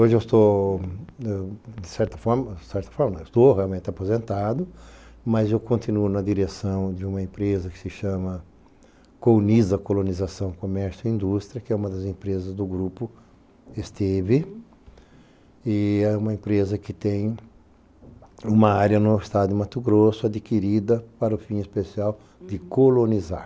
Hoje eu estou, de certa forma, estou realmente aposentado, mas eu continuo na direção de uma empresa que se chama Coloniza Colonização Comércio e Indústria, que é uma das empresas do grupo Esteve, e é uma empresa que tem uma área no estado de Mato Grosso adquirida para o fim especial de colonizar.